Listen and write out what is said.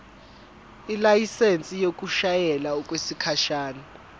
ilayisensi yokushayela okwesikhashana